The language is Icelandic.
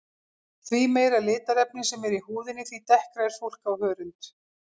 Því meira litarefni sem er í húðinni því dekkra er fólk á hörund.